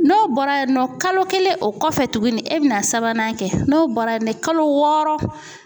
N'o bɔra yen nɔ kalo kelen o kɔfɛ tuguni e bɛna sabanan kɛ n'o bɔra ye kalo wɔɔrɔ